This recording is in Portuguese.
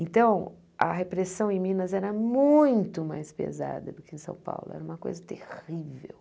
Então, a repressão em Minas era muito mais pesada do que em São Paulo, era uma coisa terrível.